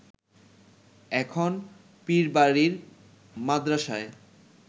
এখন পীরবাড়ির মাদ্রাসায়